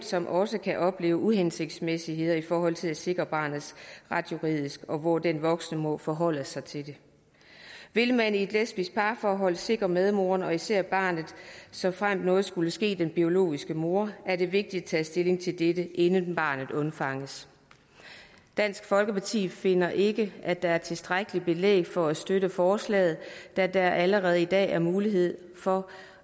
som også kan opleve uhensigtsmæssigheder i forhold til at sikre barnets ret juridisk og hvor den voksne må forholde sig til det vil man i et lesbisk parforhold sikre medmoren og især barnet såfremt noget skulle ske den biologiske mor er det vigtigt at tage stilling til dette inden barnet undfanges dansk folkeparti finder ikke at der er tilstrækkeligt belæg for at støtte forslaget da der allerede i dag er mulighed for